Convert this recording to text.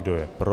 Kdo je pro?